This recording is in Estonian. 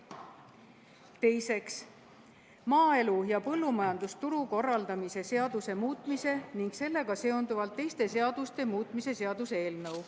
Teiseks, maaelu ja põllumajandusturu korraldamise seaduse muutmise ning sellega seonduvalt teiste seaduste muutmise seaduse eelnõu.